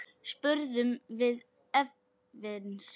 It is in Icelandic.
spurðum við efins.